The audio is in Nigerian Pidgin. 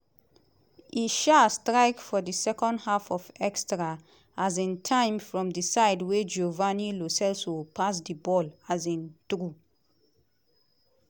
e um strike for di second half of extra um time from di side wia giovani lo celso pass di ball um through.